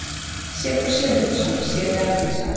Sigfús Sigurhjartarson, síðar alþingismaður.